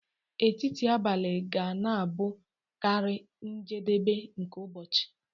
Etiti abalị ga-na bụ akara njedebe nke ụbọchị.